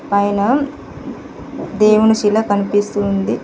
పైన దేవుని శిల కనిపిస్తూ ఉంది.